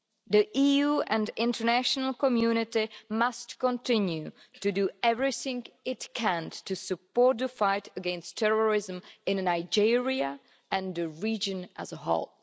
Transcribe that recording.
The EU and the international community must continue to do everything it can to support the fight against terrorism in Nigeria and the region as a whole.